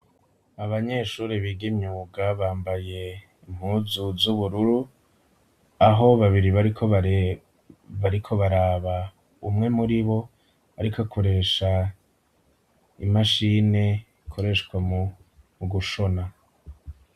Abanyeshure biga imyuga bambaye impuzu z’ubururu, aho babiri bariko baraba umwe muri bo, ariko akoresha imashini ikoreshwa mu gushona.